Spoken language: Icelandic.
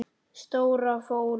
Stóra fól.